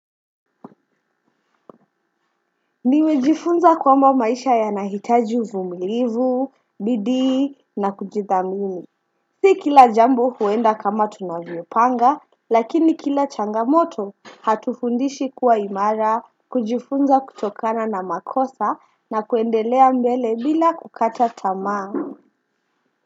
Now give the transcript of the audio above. Nimejifunza kwamba maisha yanahitaji uvumilivu, bidii na kujithamini. Si kila jambo huenda kama tunavyopanga, lakini kila changamoto hatufundishi kuwa imara, kujifunza kutokana na makosa na kuendelea mbele bila kukata tamaa.